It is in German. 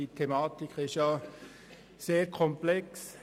Die Thematik ist sehr komplex.